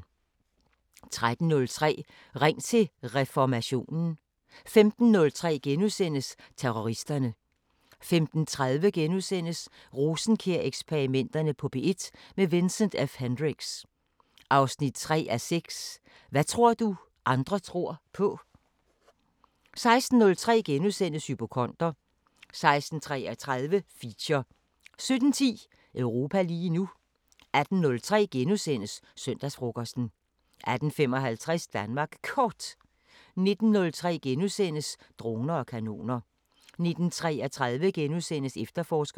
13:03: Ring til Reformationen 15:03: Terroristerne * 15:30: Rosenkjær-eksperimenterne på P1 – med Vincent F Hendricks: 3:6 Hvad tror du andre tror på? * 16:03: Hypokonder * 16:33: Feature 17:10: Europa lige nu 18:03: Søndagsfrokosten * 18:55: Danmark Kort 19:03: Droner og kanoner * 19:33: Efterforskerne *